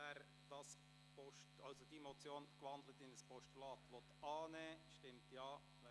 Wer die in ein Postulat gewandelte Motion annehmen will, stimmt Ja, wer dies ablehnt, stimmt Nein.